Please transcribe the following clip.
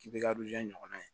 K'i bɛ ka ɲɔgɔn na ye